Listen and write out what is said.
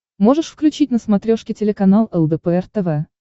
можешь включить на смотрешке телеканал лдпр тв